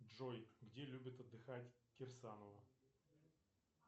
джой где любит отдыхать кирсанова